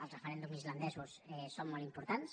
els referèndums islandesos són molt importants